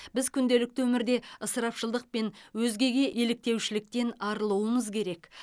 біз күнделікті өмірде ысырапшылдық пен өзгеге еліктеушіліктен арылуымыз керек